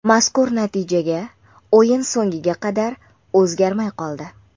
Mazkur natijaga o‘yin so‘ngiga qadar o‘zgarmay qoldi.